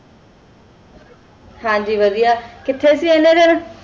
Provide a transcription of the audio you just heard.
ਹਨ ਜੀ ਵਾਦਿਯ ਕਿਤਹੀ ਸੇ ਇਨੀ ਦਿਨ